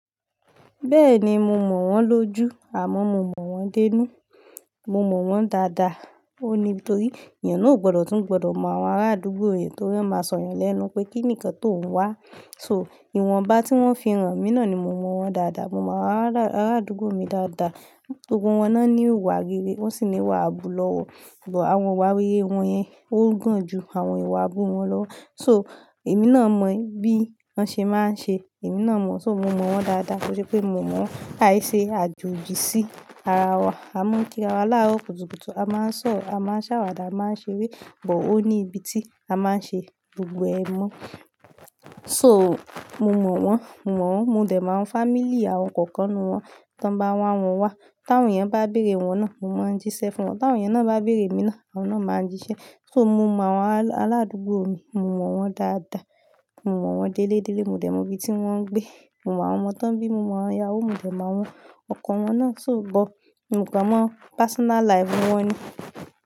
Bẹ́ẹ̀ni, mo mọ̀ wọ́n lójú àmọ́ mo mọ̀ wọ́n dé inú. Mo mọ̀ wọ́n dáadáa. Ó ní nítorí èeyàn náà ò gbọ́dọ̀ tún gbọ́dọ̀ mọ àwọn arádúgbò rẹ̀ torí ó máa sọ̀yàn lẹ́nu pé kí nìkan tóún wá. So ìwọ̀nba tí wọ́n fi hàn mí náà ni mo mọ̀ wọ́n dáadáa. Mo mọ àwọn arádúgbò mi dáadáa. Gbogbo wọn náà ní ìwà rere, wọ́n sì ní ìwà àbùlọwọ̀, bo àwọn ìwà rere wọn yẹn o gan ju àwọn ìwà àbùwọ́n lọ. So èmi náà mọ bí wọ́n ṣe máa ń ṣe, èmi náà mọ̀. So mo mọ̀ wọ́n dáadáa kó ṣe pé mo mọ̀ wọ́n, àìṣe àjòjì sí ara wa. A mọ kí ara wa láárọ̀ kùtùkùtù, a máa ń sọ̀rọ̀, a máa ń ṣàwàdà, a máa ń ṣeré, àmọ́ ó ní ibi tí a máa ń ṣe gbogbo ẹmu. So mo mọ̀ wọ́n, mo mọ̀ wọ́n, mo dẹ̀ mọ àwọn family àwọn kọ̀ọ̀kan nínú wọn. Tan bá wọn àwọn wa, tí àwọn yẹn bá bèrè wọn náà, mo máa ń jíṣẹ́ fún wọn. Tí àwọn yẹn náà bá bèrè mi náà, àwọn náà máa ń jíṣẹ́. So mo mọ àwọn arádúgbò mi, mo mọ̀ wọ́n dáadáa. Mo mọ̀ wọ́n délédélé, mo dẹ̀ mọ ibi tí wọ́n ń gbé. Mo mọ àwọn ọmọ tí wọ́n bí, mo mọ àwọn ìyáwo wọn, mo dẹ̀ mọ àwọn ọkọ wọn náà, so gbọ́, mio kan mọ personal life wọ́n ni.